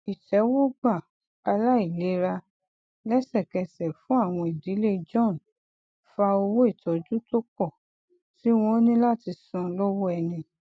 ìtẹwọgbà aláìlera lẹsẹkẹsẹ fún awọn ìdílé john fa owó ìtọju tó pọ tí wọn ní láti san lọwọ ẹni